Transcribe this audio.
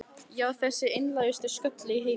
Já, þessi einlægustu skröll í heimi.